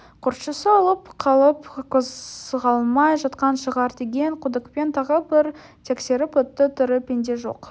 көршісі өліп қалып қозғалмай жатқан шығар деген күдікпен тағы бір тексеріп өтті тірі пенде жоқ